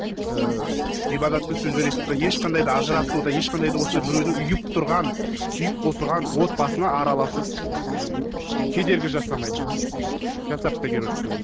ыыы ғибадатты сөздер естіп тұрса ешқандай да ажырсау да ешқандай да осындай біреудің үйіп тұрған сүйіп қосылған отбасына араласып кедергі жасамайды жасап та керегі жоқ деп ойлаймын